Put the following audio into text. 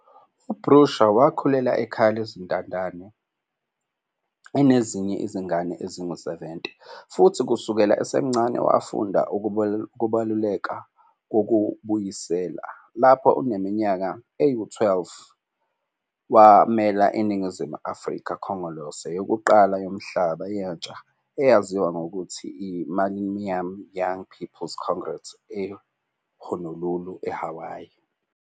U-Bushra Wakhulela ekhaya lezintandane enezinye izingane ezingu-70 futhi kusukela esemncane wafunda ukubaluleka kokubuyisela. Lapho eneminyaka eyi-12, wamela iNingizimu Afrika kuKhongolose yokuqala Yomhlaba Yentsha eyaziwa nangokuthi yi-Millennium Young People's Congress e-Honolulu, eHawaii.